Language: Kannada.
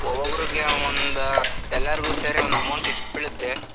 ಒಬ್ಬೊಬ್ರಿಗೆ ಒಂದ್ ಎಲ್ಲಾರ್ಗು ಸೇರಿ ಒಂದ್ amount ಎಷ್ಟ್ ಬೀಳ್‌ತ್ತೆ?